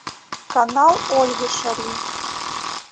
канал ольги шарий